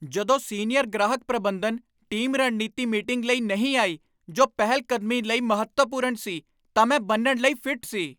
ਜਦੋਂ ਸੀਨੀਅਰ ਗ੍ਰਾਹਕ ਪ੍ਰਬੰਧਨ ਟੀਮ ਰਣਨੀਤੀ ਮੀਟਿੰਗ ਲਈ ਨਹੀਂ ਆਈ ਜੋ ਪਹਿਲ ਕਦਮੀ ਲਈ ਮਹੱਤਵਪੂਰਨ ਸੀ ਤਾਂ ਮੈਂ ਬੰਨ੍ਹਣ ਲਈ ਫਿੱਟ ਸੀ।